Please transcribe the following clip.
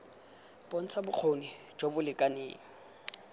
bontsha bokgoni jo bo lekaneng